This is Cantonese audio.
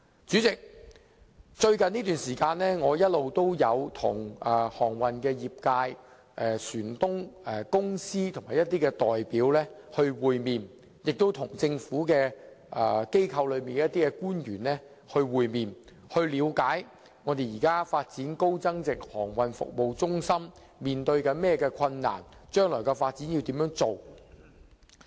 主席，我最近一直與航運業界、船東、船公司的一些代表會面，亦與一些政府官員會面，以了解現時發展高增值航運服務中心面對的困難，以及將來的發展。